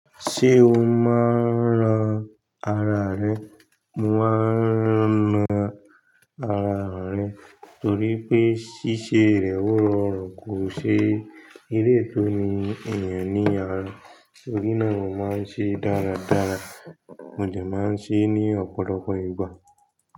Ṣé o máa ń ran ara rẹ? Mo máa ń ran ara rẹ torí pé ṣíṣe rẹ̀ ó rọrùn kò ṣe eré tó ní ènìyàn ní àára. Torí náà mo máa ń ṣe dáradára, mo jẹ máa ń ṣe ní ọ̀pọ̀lọpọ̀ ìgbà.